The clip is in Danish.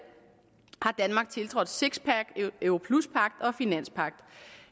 har danmark tiltrådt sixpack europluspagt og finanspagt